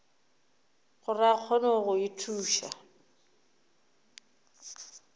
gore a kgone go ithuša